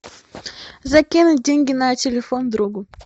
закинуть деньги на телефон другу